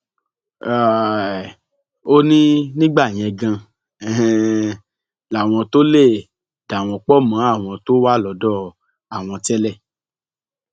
um ó ní nígbà yẹn ganan um làwọn tóo lè dà wọn pọ mọ àwọn tó wà lọdọ àwọn tẹlẹ